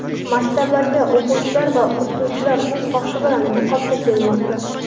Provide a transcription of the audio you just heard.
Maktablarga o‘quvchilar va o‘qituvchilar o‘z xohishi bilan niqobda kelmoqda.